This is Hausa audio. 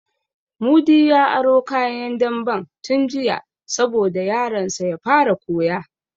Mudi ya aro kayan damben tun jiya sabo da yaron sa ya fara koya